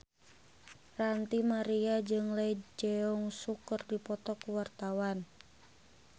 Ranty Maria jeung Lee Jeong Suk keur dipoto ku wartawan